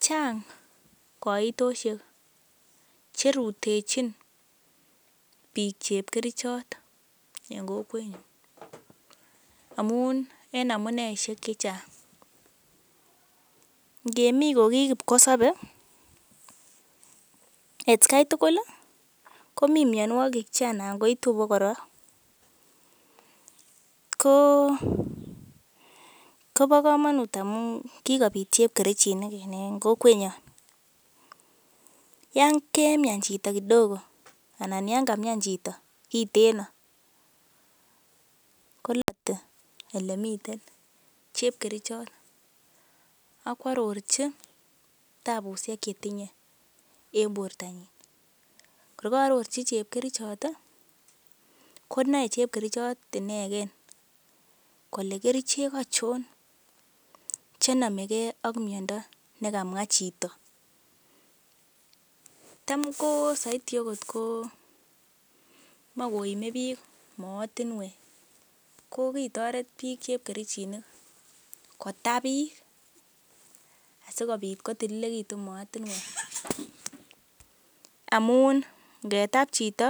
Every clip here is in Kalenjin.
Chang koitosiek che rutechin biik chepkerichot en kokwenyun amun en amuneishek che chang. Ngemi kogikipkosobe atkia tugul komi mianwogik che anan koitu abakora. Koo komonut amun kigoit chepkerichinik en kokwenyon. Yan kemian chito kidogo anan yan kamian chito kiteno kolite ele miten chepkerichot akwarorchi tabusiek che tinye en bortanyin. Kor ka aroroji chepkerichot, konae chepkerichot inegen kole kerichek achon che nomege ak miando nekamwa chito tam ko soiti agot komoe koime biik moetinwek kogitoret biik chepkerichinik kotap biik asikobit kotililegitun moatinwek amun ngetab chito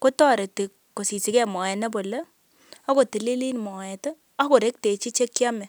kotoreti kosisigen moet nebole ak kotililit moet ak korektechi che kyome.